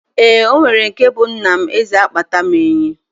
Eeǃ Onwere nke bụ Nna m Eze a kpata m enyi.